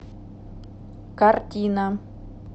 картина